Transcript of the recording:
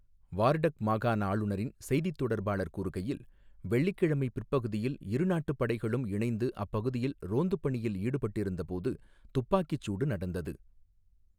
Wardak மாகாண ஆளுநரின் செய்தித் தொடர்பாளர் கூறுகையில், வெள்ளிக்கிழமை பிற்பகுதியில் இரு நாட்டுப் படைகளும் இணைந்து அப்பகுதியில் ரோந்துப் பணியில் ஈடுபட்டிருந்தபோது துப்பாக்கிச் சூடு நடந்தது.